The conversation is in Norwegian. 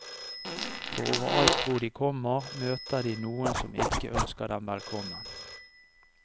For overalt hvor de kommer, møter de noen som ikke ønsker dem velkommen.